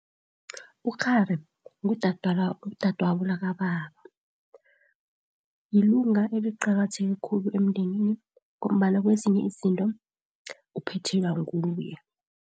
Ukghari ngudadwabo lakababa. Lilunga eliqakatheke khulu emndenini ngombana kwezinye izinto uphethelwa nguye.